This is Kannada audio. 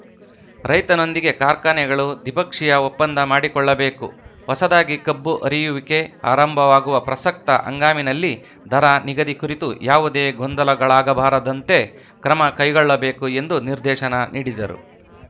ರೈತನೊಂದಿಗೆ ಕಾರ್ಖಾನೆಗಳು ದ್ವಿಪಕ್ಷೀಯ ಒಪ್ಪಂದ ಮಾಡಿಕೊಳ್ಳಬೇಕು ಹೊಸದಾಗಿ ಕಬ್ಬು ಅರಿಯುವಿಕೆ ಆರಂಭವಾಗುವ ಪ್ರಸಕ್ತ ಹಂಗಾಮಿನಲ್ಲಿ ದರ ನಿಗದಿ ಕುರಿತು ಯಾವುದೇ ಗೊಂದಲಗಳಾಗಬಾರದಂತೆ ಕ್ರಮ ಕೈಗೊಳ್ಳಬೇಕು ಎಂದು ನಿರ್ದೇಶನ ನೀಡಿದರು